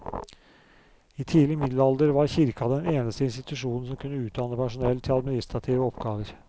I tidlig middelalder var kirka den eneste institusjonen som kunne utdanne personell til administrative oppgaver.